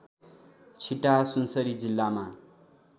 छिटाहा सुनसरी जिल्लामा